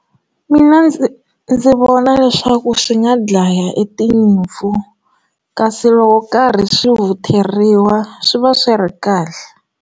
Mina ndzi ndzi vona leswaku swi nga dlaya etinyimpfu kasi loko karhi swi vutheriwa swi va swi ri kahle.